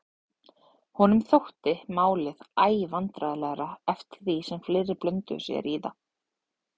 Honum þótti málið æ vandræðalegra eftir því sem fleiri blönduðu sér í það.